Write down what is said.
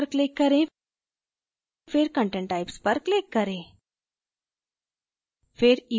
structure पर click करें फिर content types पर click करें